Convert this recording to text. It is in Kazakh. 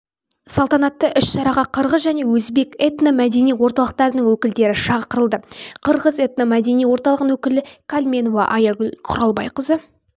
салтанатты іс-шараға қырғыз және өзбек этно-мәдени орталықтарының өкілдері шағырылды қырғыз этно-мәдени орталығының өкілі калменова аягүл құралбайқызы